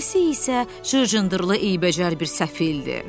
O birisi isə cır cındırlı eybəcər bir səfildir.